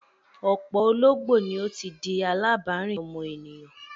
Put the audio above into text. Ọ̀pọ̀ ológbò ni ó ti di alábàárìn ọmọ ènìyàn.